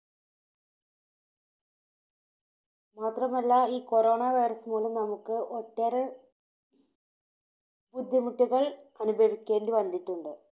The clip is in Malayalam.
മാത്രമല്ല ഈ Corona virus മൂലം നമുക്ക് ഒട്ടേറെ ബുദ്ധിമുട്ടുകൾ അനുഭവിക്കേണ്ടി വന്നിട്ടുണ്ട്.